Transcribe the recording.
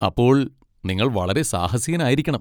അപ്പോൾ നിങ്ങൾ വളരെ സാഹസികനായിരിക്കണം!